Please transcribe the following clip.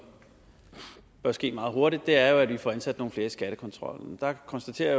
bør ske meget hurtigt er jo at vi får ansat nogle flere i skattekontrollen der konstaterer